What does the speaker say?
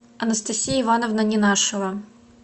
анастасия ивановна ненашева